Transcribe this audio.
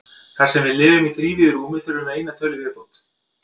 Þar sem við lifum í þrívíðu rúmi þurfum við eina tölu í viðbót.